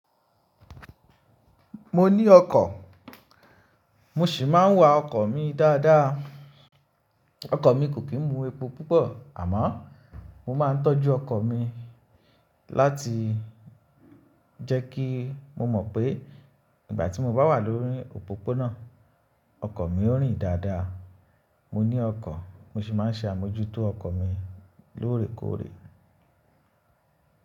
Mo ní ọkọ̀, mo sì máa ń wa ọkọ̀ mi dáadáa. Ọkọ̀ mi kò kí ń mu epo púpọ̀, àmọ́ mo máa ń tọ́jú ọkọ̀ mi láti jẹ́ kí mo mọ̀ pé ìgbà tí mo bá wà lórí òpópónà, ọkọ̀ mi ó rìn dáadáa. Mo ní ọkọ̀, mo sì máa ń ṣe àmójútó ọkọ̀ mi lóòrèkóòrè.